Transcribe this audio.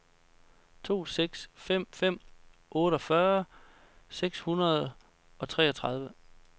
to seks fem fem otteogfyrre seks hundrede og treogtredive